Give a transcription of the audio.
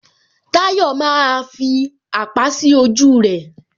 Tayọ maaa fi àpá sí ojú rẹ